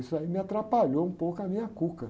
Isso aí me atrapalhou um pouco a minha cuca.